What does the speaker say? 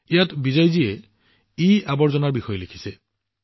ইয়াত বিজয়জীয়ে ইৱেষ্টৰ বিষয়ে লিখিছে